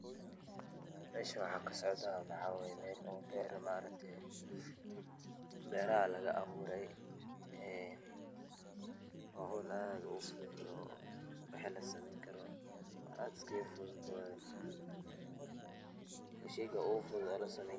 Meshan waxaa kasocda maxawaye mel oo beer maaragte beeraha lagabuuraye waa hool aad fudhud oo waxi lasameyn karo aad iskagafudhud oo wa sheyga ugufudhud aa lasameyn karo.